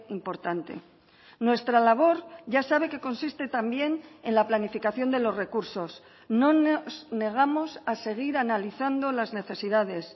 importante nuestra labor ya sabe que consiste también en la planificación de los recursos no nos negamos a seguir analizando las necesidades